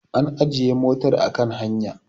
an ajiye motar a kan hanya